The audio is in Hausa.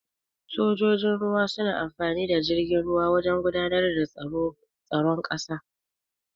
Sojojin ruwa suna amfani da jirgin ruwa wajan gudanar da tsaron ƙasa.